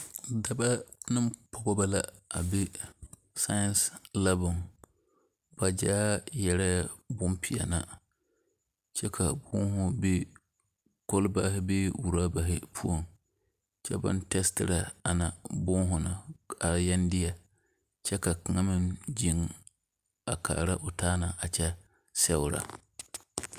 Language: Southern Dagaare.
Dɔbɔ ne pɔgebɔ la be saien lapo poɔ ba gyaa yɛrɛɛ bonpeɛli kyɛ ka boma be kɔlbaare bee rɔbari poɔ kyɛ baŋ tɛɛsirɛ ana boma na a yele baŋ deɛ kyɛ ka kaŋa meŋ ziŋ a kaara o taa na a kyɛ sɛgrɛ.